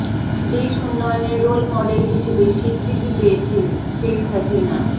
দেশ উন্নয়নের role model হিসেবে স্বীকৃতি পেয়েছে ঃ শেখ হাসিনা